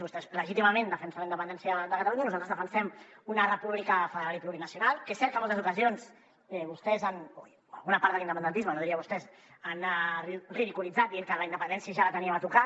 vostès legítimament defensen la independència de catalunya i nosaltres defensem una república federal i plurinacional que és cert que en moltes ocasions vostès o alguna part de l’independentisme no diria vostès ho han ridiculitzat dient que la independència ja la teníem a tocar